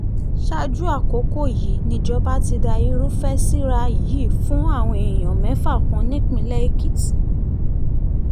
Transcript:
ṣáájú àkókò yìí nìjọba ti da irúfẹ́ síra yìí fún àwọn èèyàn mẹ́fà kan nípìnlẹ̀ èkìtì